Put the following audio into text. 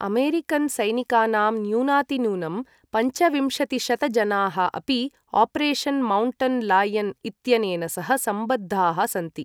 अमेरिकनसैनिकानाम् न्यूनातिन्यूनं पञ्चविंशतिशत जनाः अपि ऑपरेशन् माउण्टन् लायन इत्यनेन सह सम्बद्धाः सन्ति ।